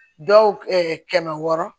Dɔw kɛmɛ wɔɔrɔ